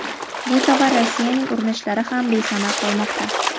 bu safar Rossiyaning urunishlari ham besamar qolmoqda.